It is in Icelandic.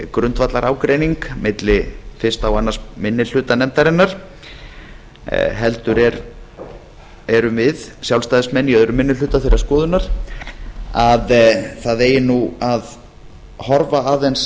grundvallarágreining milli fyrstu og annar minni hluta nefndarinnar heldur erum við sjálfstæðismenn í öðrum minni hluta þeirrar skoðunar að það eigi að horfa aðeins